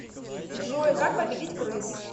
джой как победить крыс